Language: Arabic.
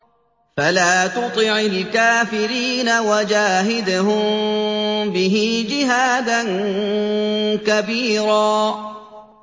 فَلَا تُطِعِ الْكَافِرِينَ وَجَاهِدْهُم بِهِ جِهَادًا كَبِيرًا